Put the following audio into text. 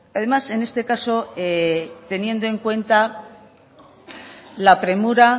además en este caso teniendo en cuenta la premura